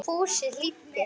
Og Fúsi hlýddi.